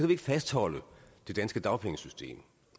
vi ikke fastholde det danske dagpengesystem og